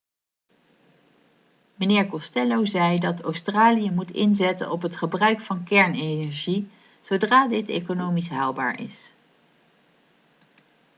meneer costello zei dat australië moet inzetten op het gebruik van kernenergie zodra dit economisch haalbaar is